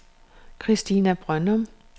Kristina Brøndum